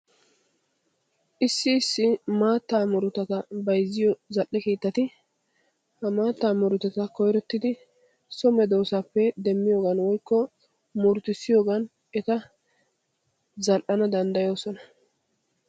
Issi issi maattaa murutata bayzziyo zal"e keettati ha maattaa murutata koyrottidi so medoosaappe demmiyoogan woykko murutissiyoogan eta zal"ana danddayoosona.